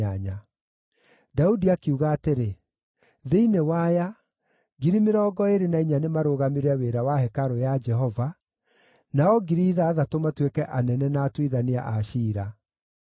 Daudi akiuga atĩrĩ, “Thĩinĩ wa aya, 24,000 nĩ marũgamagĩrĩre wĩra wa hekarũ ya Jehova, nao 6,000 matuĩke anene na atuithania a ciira.